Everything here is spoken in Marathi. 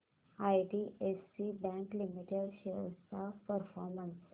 आयडीएफसी बँक लिमिटेड शेअर्स चा परफॉर्मन्स